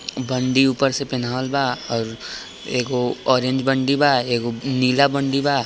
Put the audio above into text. D ऊपर से पहनावल बा | एगो ऑरेंज बंडी बा एगो नीला बंडी बा |